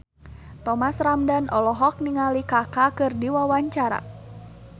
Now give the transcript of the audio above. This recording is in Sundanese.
Thomas Ramdhan olohok ningali Kaka keur diwawancara